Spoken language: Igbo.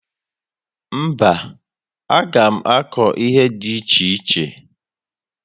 Mba, a gá m akụ ihe dị iche iche